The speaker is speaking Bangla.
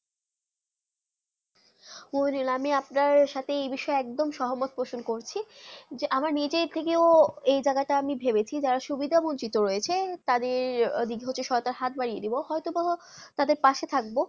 মমিদুল আমি আপনার সাথে যে বিষয় একদম সহমত প্রশ্ন করছি আমি নিজে থেকে যে জায়গা তা আমি ভেবে চি যারা সুবিধা বঞ্চিত রাহয়ে তাদের দইটা সত্তা হাত বাধিয়ে দিবো অথবা তাদের অনায়াসে থাকবো